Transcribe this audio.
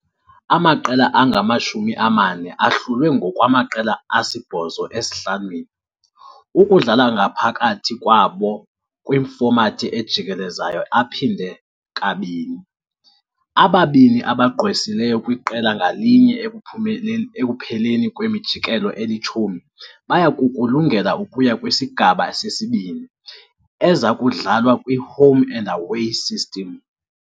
Amaqela angama-40 ahlulwe ngokwamaqela asibhozo esi-5, ukudlala ngaphakathi kwabo kwifomathi ejikelezayo ephindwe kabini. Ababini abagqwesileyo kwiqela ngalinye ekupheleni kwemijikelo eli-10 baya kukulungela ukuya kwiSigaba seSibini, eza kudlalwa kwi-home-and-away system.